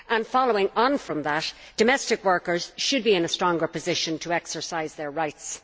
Following on from that, domestic workers should be in a stronger position to exercise their rights.